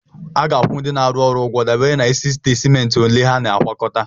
A ga-akwụ ndị na-arụ ọrụ ụgwọ dabere n'isi ite simenti ole ha na-agwakọta.